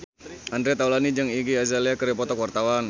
Andre Taulany jeung Iggy Azalea keur dipoto ku wartawan